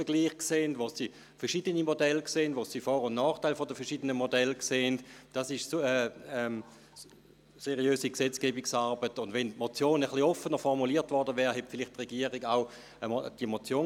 Einzig bin ich leicht enttäuscht, dass es allseits gleich geklungen hat, ausser vonseiten der Mitte.